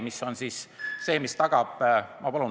Ma palun lisaaega!